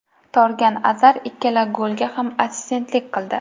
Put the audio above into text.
Torgan Azar ikkala golga ham assistentlik qildi.